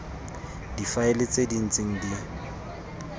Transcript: difaele tse di ntseng di